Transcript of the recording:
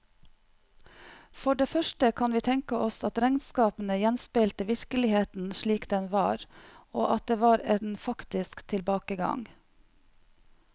For det første kan vi tenke oss at regnskapene gjenspeilte virkeligheten slik den var, og at det var en faktisk tilbakegang.